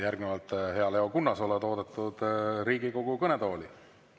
Järgnevalt, hea Leo Kunnas, oled oodatud Riigikogu kõnetooli.